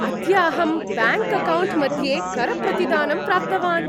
अद्य अहं ब्याङ्क्अकौण्ट् मध्ये करप्रतिदानं प्राप्तवान्।